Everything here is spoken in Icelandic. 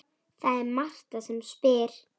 Það er Marta sem spyr.